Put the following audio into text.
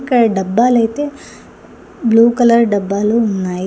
ఇక్కడ డబ్బాలైతే blue colour డబ్బాలు ఉన్నాయి.